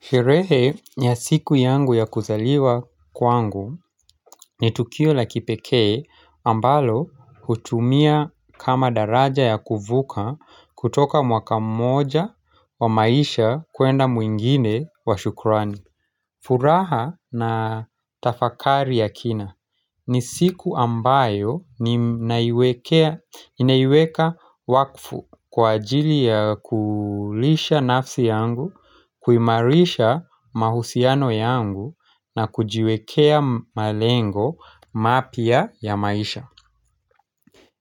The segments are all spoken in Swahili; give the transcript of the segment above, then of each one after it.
Sherehe ya siku yangu ya kuzaliwa kwangu ni tukio la kipekee ambalo hutumia kama daraja ya kuvuka kutoka mwaka mmoja wa maisha kuenda muingine wa shukrani furaha na tafakari ya kina ni siku ambayo ninaiweka wakfu kwa ajili ya kulisha nafsi yangu kuimarisha mahusiano yangu na kujiwekea malengo mapya ya maisha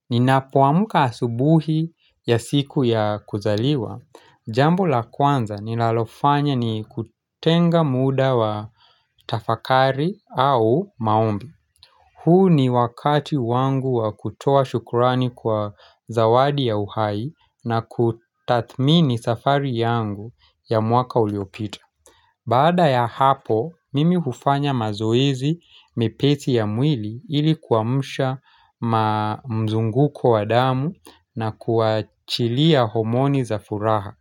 Ninapoamuka asubuhi ya siku ya kuzaliwa Jambo la kwanza ninalofanya ni kutenga muda wa tafakari au maombi huu ni wakati wangu wa kutoa shukurani kwa zawadi ya uhai na kutathmini safari yangu ya mwaka uliopita Baada ya hapo, mimi hufanya mazoezi mepesi ya mwili ili kuamsha mzunguko wa damu na kuachilia homoni za furaha.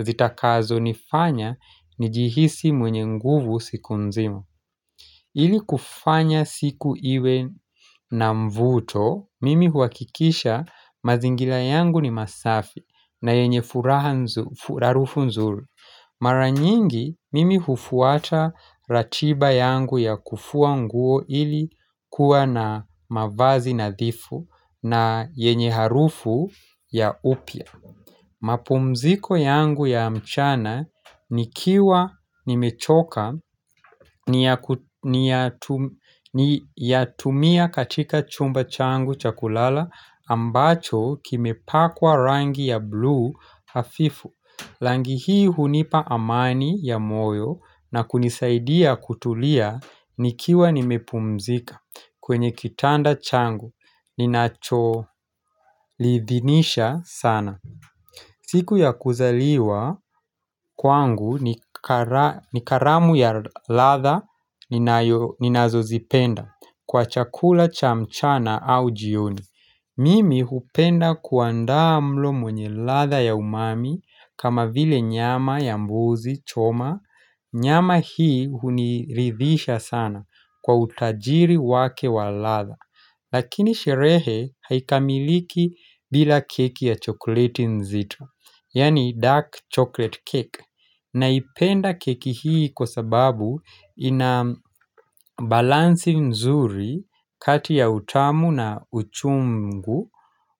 Zitakazo nifanya njihisi mwenye nguvu siku nzima. Ili kufanya siku iwe na mvuto, mimi huakikisha mazingila yangu ni masafi na yenye harufu nzuru. Mara nyingi, mimi hufuata ratiba yangu ya kufua nguo ili kuwa na mavazi nadhifu na yenye harufu ya upya. Mapumziko yangu ya mchana nikiwa nimechoka ni yatumia katika chumba changu cha kulala ambacho kimepakwa rangi ya bluu hafifu rangi hii hunipa amani ya moyo na kunisaidia kutulia nikiwa nimepumzika kwenye kitanda changu ninacholiithinisha sana siku ya kuzaliwa kwangu ni karamu ya ladha ninazozipenda kwa chakula cha mchana au jioni. Mimi hupenda kuandaa mlo mwenye ladha ya umami kama vile nyama ya mbuzi choma. Nyama hii huniridhisha sana kwa utajiri wake wa ladha. Lakini sherehe haikamiliki bila keki ya chokoleti nzitra. Yani dark chocolate cake naipenda keki hii kwa sababu ina balansi nzuri kati ya utamu na uchungu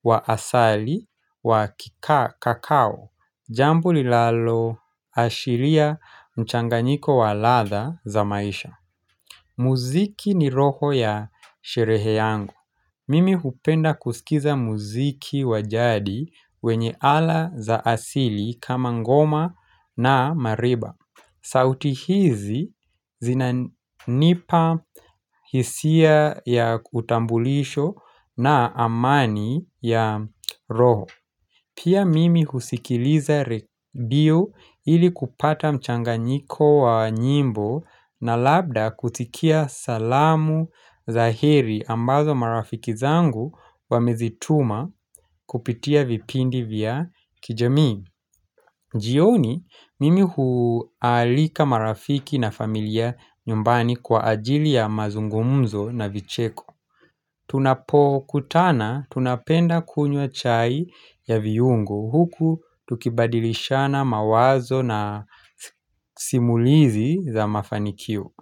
wa asali wa kakao Jambo linaloashiria mchanganyiko wa ladha za maisha muziki ni roho ya sherehe yangu Mimi hupenda kusikiza muziki wa jadi wenye ala za asili kama ngoma na mariba. Sauti hizi zinanipa hisia ya utambulisho na amani ya roho. Pia mimi husikiliza redio ili kupata mchanganyiko wa nyimbo na labda kutikia salamu za heri ambazo marafiki zangu wamezituma kupitia vipindi vya kijamii. Jioni mimi huaalika marafiki na familia nyumbani kwa ajili ya mazungumzo na vicheko. Tunapokutana tunapenda kunywa chai ya viungo huku tukibadilishana mawazo na simulizi za mafanikio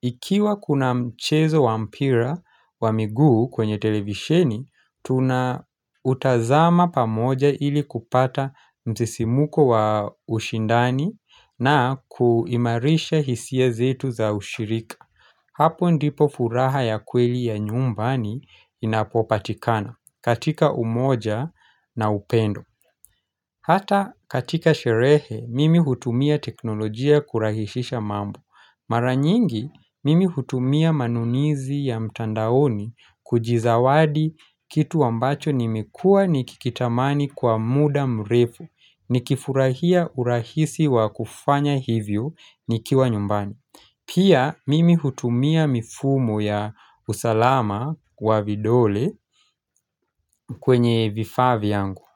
Ikiwa kuna mchezo wa mpira wa miguu kwenye televisheni, tuna utazama pamoja ili kupata msisimuko wa ushindani na kuimarisha hisia zetu za ushirika Hapo ndipo furaha ya kweli ya nyumbani inapopatikana katika umoja na upendo Hata katika sherehe mimi hutumia teknolojia kurahishisha mambo Mara nyingi mimi hutumia manunizi ya mtandaoni kujizawadi kitu ambacho nimekua nikikitamani kwa muda mrefu Nikifurahia urahisi wa kufanya hivyo nikiwa nyumbani Pia mimi hutumia mifumo ya usalama wa vidole kwenye vifaa vyangu.